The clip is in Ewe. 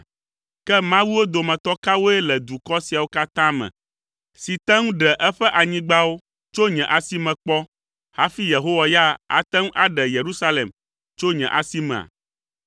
Ke mawuwo dometɔ kawoe le dukɔ siawo katã me si te ŋu ɖe eƒe anyigbawo tso nye asi me kpɔ hafi Yehowa ya ate ŋu aɖe Yerusalem tso nye asimea?”